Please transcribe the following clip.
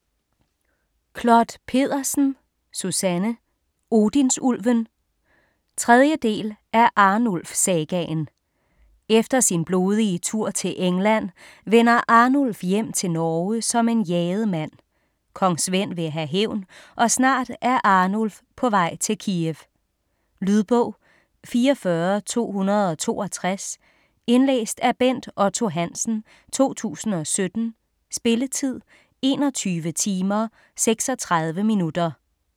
Clod Pedersen, Susanne: Odinsulven 3. del af Arnulf sagaen. Efter sin blodige tur til England vender Arnulf hjem til Norge som en jaget mand. Kong Svend vil have hævn, og snart er Arnulf på vej til Kiev. Lydbog 44262 Indlæst af Bent Otto Hansen, 2017. Spilletid: 21 timer, 36 minutter.